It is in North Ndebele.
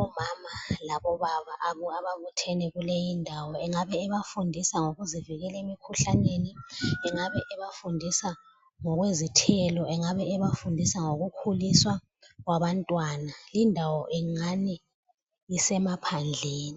omama labobaba ababuthene kuleyindawo. Engabe ebafundisa ngokuzivikela emkhuhlaneni, engabe ebafundisa ngokwezithelo, engabe ebafundisa ngokukhuliswa kwabantwana. Lindawo ingani isemaphandleni.